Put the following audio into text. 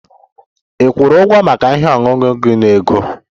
Ị kwụrụ ụgwọ maka ihe ọṅụṅụ gị na ego?